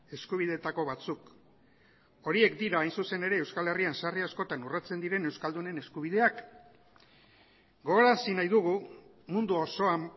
eskubideetako batzuk horiek dira hain zuzen ere euskal herrian sarri askotan urratsen diren euskaldunen eskubideak gogorarazi nahi dugu mundu osoan